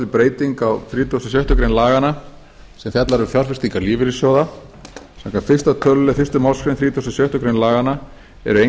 til breyting á þrítugasta og sjöttu grein laganna sem fjallar um fjárfestingar lífeyrissjóða samkvæmt fyrsta tölulið fyrstu málsgrein þrítugustu og sjöttu grein laganna eru